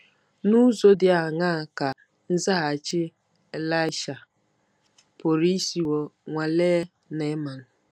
N’ụzọ dị aṅaa ka nzaghachi Ịlaịsha pụrụ isiwo nwalee Neaman?